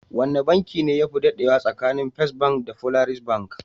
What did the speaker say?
Wane banki ne yafi dadewa tsakanin First bank da Polaris bank?